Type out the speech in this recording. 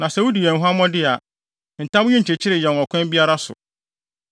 Na sɛ wudi yɛn huammɔ de a, ntam yi nnkyekyere yɛn ɔkwan biara so.”